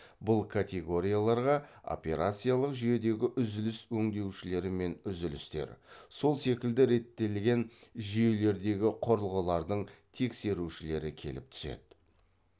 бұл категорияларға операциялық жүйедегі үзіліс өңдеушілері мен үзілістер сол секілді реттелген жүйелердегі құрылғылардың тексерушілері келіп түседі